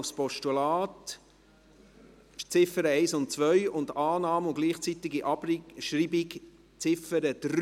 Das heisst, Annahme der Ziffern 1 und 2 als Postulat und Annahme und gleichzeitige Abschreibung der Ziffer 3.